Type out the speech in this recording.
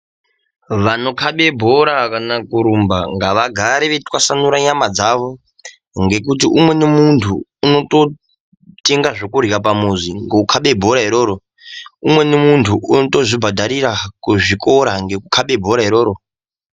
Vanokabe bhora kana kurumba ngavagare veitwasanure nyama dzawo ngekuti umweni muntu unototenga zvekurya pamuzi ngekukabe bhora iroro umweni muntu unotozvibhadharira kuzvikora ngekukabe bhora iroro.